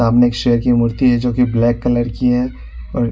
सामने एक शेर की मूर्ति है जो की ब्लैक कलर की है और--